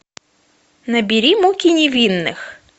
набери муки невинных